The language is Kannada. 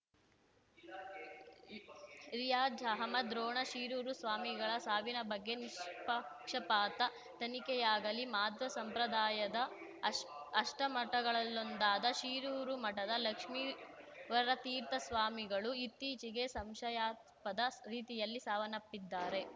ರಿಯಾಝ್‌ ಅಹ್ಮದ್‌ ರೋಣ ಶಿರೂರು ಸ್ವಾಮಿಗಳ ಸಾವಿನ ಬಗ್ಗೆ ನಿಷ್ಪಕ್ಷಪಾತ ತನಿಖೆಯಾಗಲಿ ಮಾಧ್ವ ಸಂಪ್ರದಾಯದ ಅಷ್ ಅಷ್ಟಮಠಗಳಲ್ಲೊಂದಾದ ಶಿರೂರು ಮಠದ ಲಕ್ಷ್ಮೀವರತೀರ್ಥ ಸ್ವಾಮಿಗಳು ಇತ್ತೀಚೆಗೆ ಸಂಶಯಾಸ್ಪದ ರೀತಿಯಲ್ಲಿ ಸಾವನ್ನಪ್ಪಿದ್ದಾರೆ